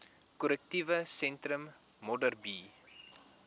korrektiewe sentrum modderbee